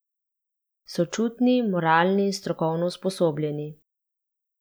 Sočutni, moralni in strokovno usposobljeni.